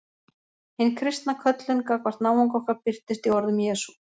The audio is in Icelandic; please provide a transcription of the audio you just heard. Hin kristna köllun gagnvart náunga okkar birtist í orðum Jesú.